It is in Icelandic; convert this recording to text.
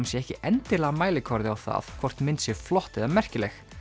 sé ekki endilega mælikvarði á það hvort mynd sé flott eða merkileg